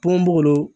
Bon b'olu